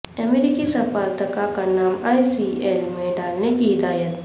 امریکی سفارتکار کا نام ای سی ایل میں ڈالنے کی ہدایت